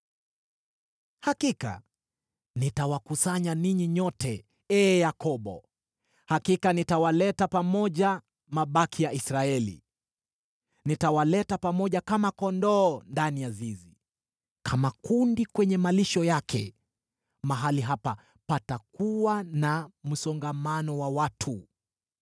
“Hakika nitawakusanya ninyi nyote, ee Yakobo, Hakika nitawaleta pamoja mabaki ya Israeli. Nitawaleta pamoja kama kondoo ndani ya zizi, kama kundi kwenye malisho yake, mahali hapa patakuwa na msongamano wa watu.